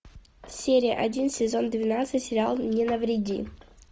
серия один сезон двенадцать сериал не навреди